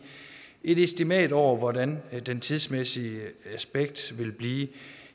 et estimat over hvordan det tidsmæssige aspekt vil blive